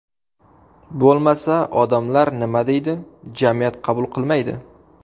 Bo‘lmasa, odamlar nima deydi, jamiyat qabul qilmaydi.